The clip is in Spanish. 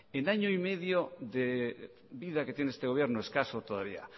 en año y medio de vida que tiene este gobierno escaso todavía